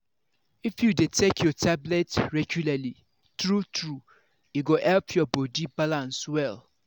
if you dey take your tablet regularly true-true e go help your body balance well!